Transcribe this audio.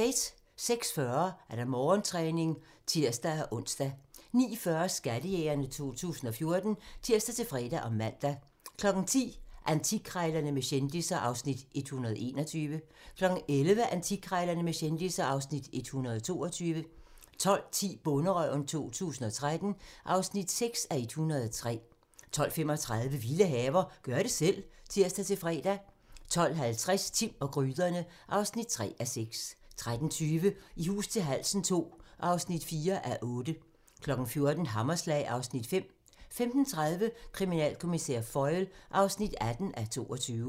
06:40: Morgentræning (tir-ons) 09:40: Skattejægerne 2014 (tir-fre og man) 10:00: Antikkrejlerne med kendisser (Afs. 121) 11:00: Antikkrejlerne med kendisser (Afs. 122) 12:10: Bonderøven 2013 (6:103) 12:35: Vilde haver - gør det selv (tir-fre) 12:50: Timm og gryderne (3:6) 13:20: I hus til halsen II (4:8) 14:00: Hammerslag (Afs. 5) 15:30: Kriminalkommissær Foyle (18:22)